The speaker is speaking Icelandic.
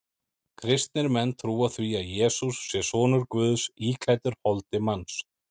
Kristnir menn trúa því að Jesús sé sonur Guðs íklæddur holdi manns.